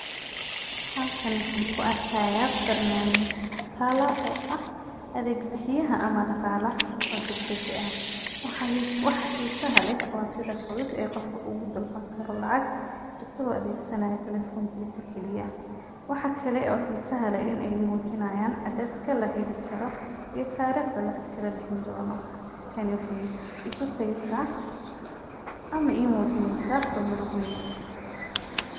Halkaan waxaan kuarkaaya barnaamijya talo oo ah adeeg bixiyaha ama daqaalaha oo deg deg eh. Waxa xisa leh oo sida fudud oo qofka ugu dalban karo lacag isagoo adeeg sanaayo telefonkiisa kili ah. Waxa kale oo xisa leh in aay muujinaayaan cadeedka la heli karo ii taariiqda lacagta la bixin doono. Tani waxaay ituseysaa ama imuujineysaa hormar weyn.